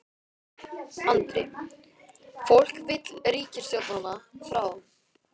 Andri: Fólk vill ríkisstjórnina frá?